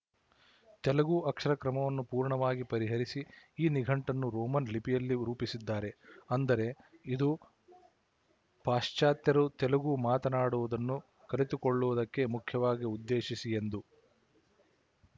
ತೆಲುಗು ಅಕ್ಷರಕ್ರಮವನ್ನು ಪೂರ್ಣವಾಗಿ ಪರಿಹರಿಸಿ ಈ ನಿಘಂಟನ್ನು ರೋಮನ್ ಲಿಪಿಯಲ್ಲಿ ರೂಪಿಸಿದ್ದಾರೆ ಅಂದರೆ ಇದು ಪಾಶಚಾತ್ಯರು ತೆಲುಗು ಮಾತಾಡುವುದನ್ನು ಕಲಿತುಕೊಳ್ಳುವುದಕ್ಕೇ ಮುಖ್ಯವಾಗಿ ಉದ್ದೇಶಿಸಿ ಯೆಂದು